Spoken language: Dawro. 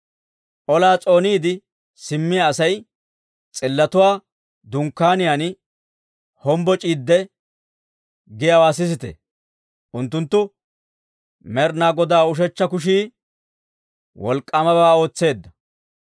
Olaa s'ooniide simmiyaa asay, s'illotuwaa dunkkaaniyaan hombboc'iidde, giyaawaa sisite. Unttunttu, «Med'inaa Godaa ushechcha kushii wolk'k'aamabaa ootseedda!